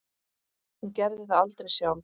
Hún gerði það aldrei sjálf.